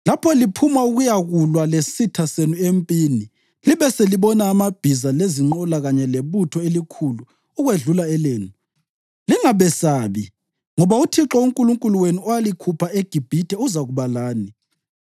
“Lapho liphuma ukuyakulwa lesitha senu empini libe selibona amabhiza lezinqola kanye lebutho elikhulu ukwedlula elenu, lingabesabi, ngoba uThixo uNkulunkulu wenu, owalikhupha eGibhithe, uzakuba lani.